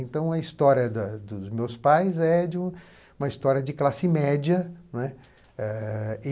Então, a história da dos meus pais é de uma história de classe média, não é?